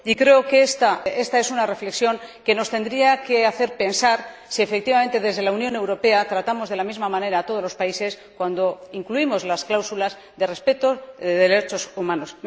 Y creo que esta es una reflexión que nos tendría que hacer pensar si efectivamente desde la Unión Europea tratamos de la misma manera a todos los países cuando incluimos las cláusulas de respeto de los derechos humanos.